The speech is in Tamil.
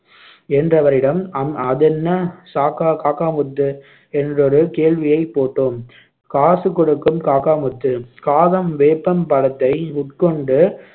என்றவரிடம் அ~ அதென்ன சாக்கா~ காக்கா முத்து என்றொரு கேள்வியைப் போட்டோம் காசு கொடுக்கும் காக்கா முத்து காகம் வேப்பம் பழத்தை உட்கொண்டு